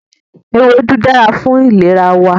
Ewédú dára fún ìlera wa